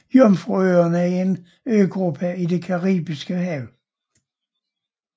Jomfruøerne er en øgruppe i det Caribiske Hav